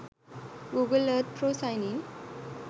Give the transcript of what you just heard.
google earth pro sign in